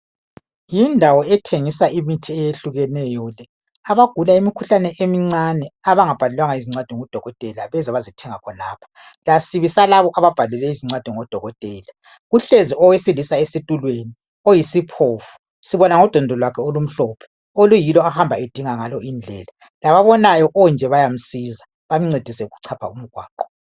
Yindawo ethengisa imithi eyehlukeneyo le. Abagula imikhuhlane emincane abangabhalelwanga izincwadi ngudokotela beza bazethenga khonapho lasibi salabo ababhalelwe izincwadi ngudokotela. Kuhlezi owesilisa esitulweni oyisiphofu. Sibona ngodondolo lwakhe olumhlophe oluyilo ahamba edinga ngalo indlela. Lababonayo kunje bayamsiza bamncedise ukuchapha umgwaqo.